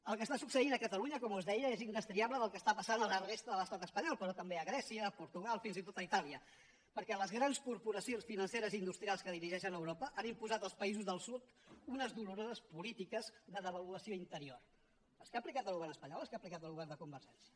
el que està succeint a catalunya com us deia és indestriable del que està passant a la resta de l’estat espanyol però també a grècia a portugal fins i tot a itàlia perquè les grans corporacions financeres i industrials que dirigeixen europa han imposat als països del sud unes doloroses polítiques de devaluació interior les que ha aplicat el govern espanyol o les que ha aplicat el govern de convergència